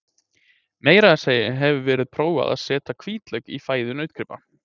Meira að segja hefur verið prófað er að setja hvítlauk í fæðu nautgripa.